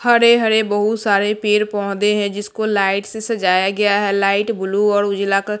हरे हरे बहुत सारे पेर पौधे हैं जिसको लाइट से सजाया गया है लाइट ब्लू और उजला क।